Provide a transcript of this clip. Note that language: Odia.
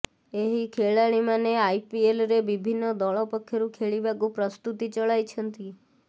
ଏହି ଖେଳାଳିମାନେ ଆଇପିଏଲରେ ବିିଭିନ୍ନ ଦଳ ପକ୍ଷରୁ ଖେଳିବାକୁ ପ୍ରସ୍ତୁତି ଚଳାଇଛନ୍ତି